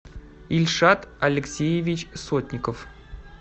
ильшат алексеевич сотников